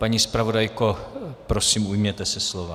Paní zpravodajko, prosím ujměte se slova.